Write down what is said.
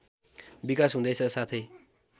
विकास हुँदैछ साथै